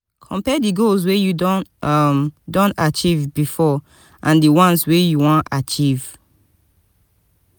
compare di goals wey you um don achieve before and di once wey you wan achieve